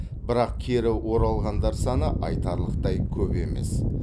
бірақ кері оралғандар саны айтарлықтай көп емес